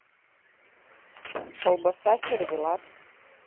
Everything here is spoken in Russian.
колбаса сервелат